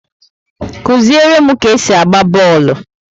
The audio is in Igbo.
Kụziere m ka esi agba bọọlụ!